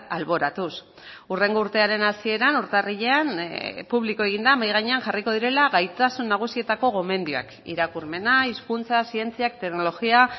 alboratuz hurrengo urtearen hasieran urtarrilean publiko egin da mahai gainean jarriko direla gaitasun nagusietako gomendioak irakurmena hizkuntza zientziak teknologia